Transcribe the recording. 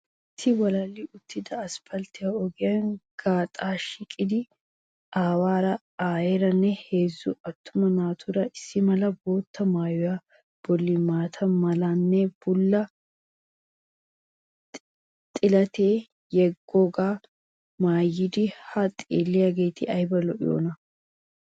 Issi walalli uttida aspaltte ogiyan gaxaa shiiqiidi aawaara aayeeranne heezzu attuma naati issi mala bootta maayuwa bolli maata malanne bulla xilatiyaa yeggoogaa maayidi haa xeelliyageeti ayba lo'iyoona?